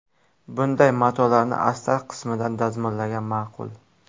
Bunday matolarni astar qismidan dazmollagan ma’qul.